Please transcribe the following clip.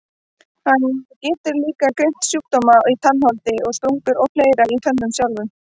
Hann getur líka greint sjúkdóma í tannholdi og sprungur og fleira í tönnunum sjálfum.